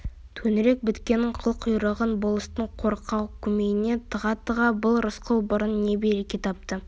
төңірек біткеннің қыл құйрығын болыстың қорқау көмейіне тыға-тыға бұл рысқұл бұрын не береке тапты